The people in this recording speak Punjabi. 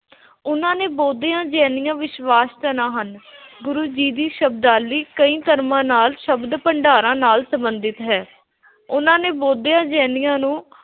ਉਨ੍ਹਾਂ ਨੇ ਬੋਧੀਆਂ, ਜੈਨੀਆਂ, ਵਿਸ਼ਵਾਸ਼ ਹਨ। ਗੁਰੂ ਜੀ ਦੀ ਸ਼ਬਦਾਵਲੀ ਕਈ ਧਰਮਾਂ ਨਾਲ ਸ਼ਬਦ ਭੰਡਾਰਾਂ ਨਾਲ, ਸੰਬੰਧਿਤ ਹੈ।